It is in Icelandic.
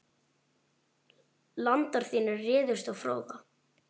Landar þínir réðust á Fróða.